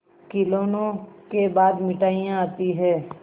खिलौनों के बाद मिठाइयाँ आती हैं